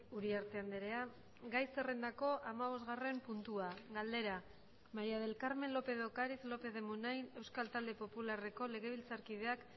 uriarte andrea gai zerrendako hamabosgarren puntua galdera maría del carmen lópez de ocariz lópez de munain euskal talde popularreko legebiltzarkideak